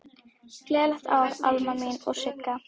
Gleðilegt ár, Alma mín og Sigga.